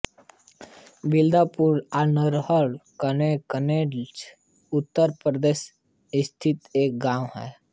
बिलन्दपुर नालाहार कन्नौज कन्नौज उत्तर प्रदेश स्थित एक गाँव है